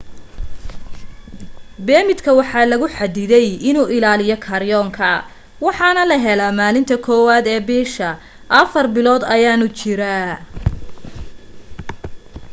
beemidka waxaa lagu xadiday inuu ilaaliyo karyonka waxaana la helaa maalinta 1aad ee bisha afar bilood ayaanu jiraa